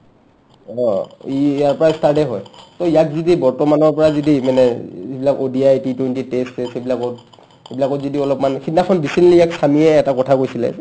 অ ই ইয়াৰ পাই start এ হয় to ইয়াক যদি বৰ্তমানৰ পৰা যদি মানে ই ইবিলাক ODI , T20 test চেষ্ট ইবিলাকত ইবিলাকত যদি অলপমান সিদনাখন recently ইয়াক ছামীয়ে এটা কথা কৈছিলে